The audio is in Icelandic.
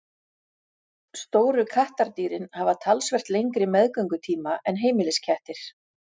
Stóru kattardýrin hafa talsvert lengri meðgöngutíma en heimiliskettir.